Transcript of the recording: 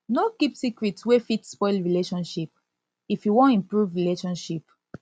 no keep secret wey fit spoil relationship if you wan improve relationship